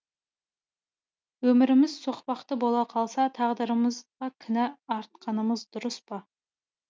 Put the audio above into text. өміріміз соқпақты бола қалса тағдырымызға кінә артқанымыз дұрыс па